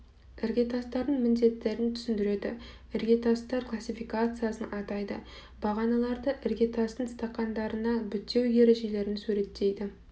іргетастардың міндеттерін түсіндіреді іргетастар классификациясын атайды бағаналарды іргетастың стақандарына бітеу ережелерін суреттейді